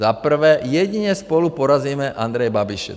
Za prvé, jedině spolu porazíme Andreje Babiše.